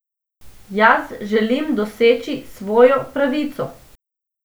Jaz želim doseči svojo pravico!